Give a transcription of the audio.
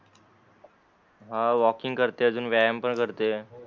हान वॉकिंग करते अजून व्यायाम पण करते